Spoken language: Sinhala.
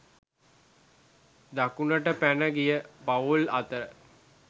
දකුණට පැන ගිය පවුල් අතර